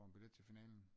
For en billet til finalen